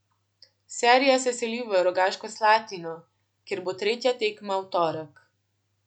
Serija se seli v Rogaško Slatino, kjer bo tretja tekma v torek.